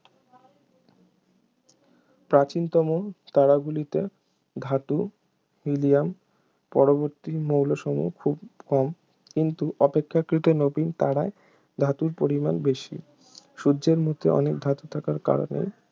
প্রাচীনতম তারাগুলিতে ধাতু হিলিয়াম পরবর্তী মৌলসমূহ খুব কম কিন্তু অপেক্ষাকৃত নবীন তারায় ধাতুর পরিমাণ বেশি সূর্যের মধ্যে অনেক ধাতু থাকার কারণে